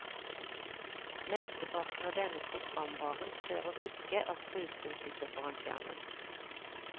Mesteparten av denne programvaren krever ikke at brukeren sitter foran skjermen.